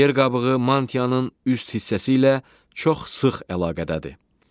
Yer qabığı mantianın üst hissəsi ilə çox sıx əlaqədədir.